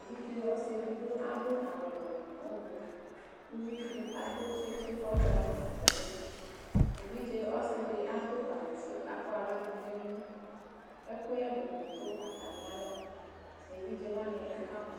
evidze ɔsɩ edigbo adʋ awʋwɛ nʋ ʋblʋ, uvidɩ atʋ tsitsi k'ɔza n'atamidu Evidze ɔsɩdɩ adʋ awʋfue k'akɔ aɣladʋ n'emu Ɛkʋyɛdɩnɩ dʋ atamɩalɔ evidzewanɩ ɛdɩ kamɔ